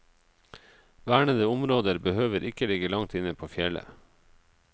Vernede områder behøver ikke ligge langt inne på fjellet.